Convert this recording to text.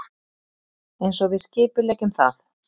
Einsog við skipuleggjum það.